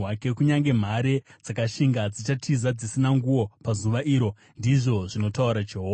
Kunyange mhare dzakashinga dzichatiza dzisina nguo pazuva iro,” ndizvo zvinotaura Jehovha.